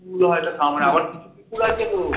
কুকুর হয়তো কামড়ে আবার কিছু কুকুর আছে গো